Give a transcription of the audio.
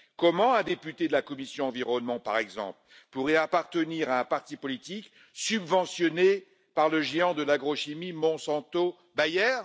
Comment un député de la commission ENVI, par exemple, pourrait appartenir à un parti politique subventionné par le géant de l'agrochimie Monsanto Bayer?